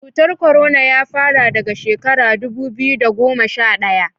cutar korona ya fara daga shekara dubu biyu da goma sha daya